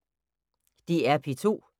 DR P2